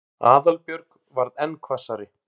Aðalbjörg varð enn hvassari.